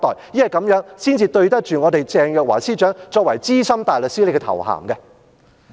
因為這樣才對得起鄭若驊司長所擁有的資深大律師的頭銜。